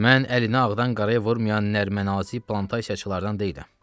Mən əli nə ağdan qaraya vurmayan nər-mənnazi plantasiyaçılardan deyiləm.